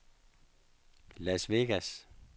Las Vegas